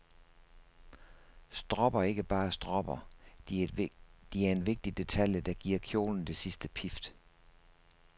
Stropper er ikke bare stropper, de er en vigtig detalje, der giver kjolen det sidste pift.